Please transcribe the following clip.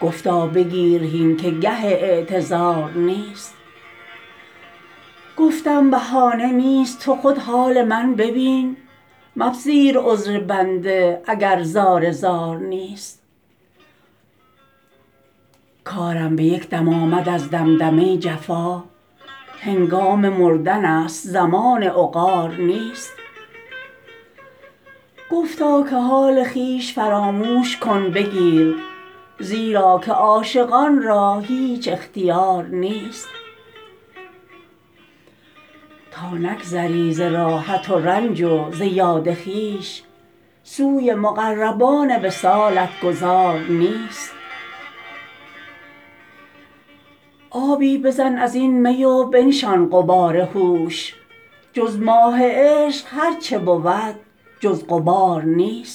گفتا بگیر هین که گه اعتذار نیست گفتم بهانه نیست تو خود حال من ببین مپذیر عذر بنده اگر زار زار نیست کارم به یک دم آمد از دمدمه جفا هنگام مردنست زمان عقار نیست گفتا که حال خویش فراموش کن بگیر زیرا که عاشقان را هیچ اختیار نیست تا نگذری ز راحت و رنج و ز یاد خویش سوی مقربان وصالت گذار نیست آبی بزن از این می و بنشان غبار هوش جز ماه عشق هر چه بود جز غبار نیست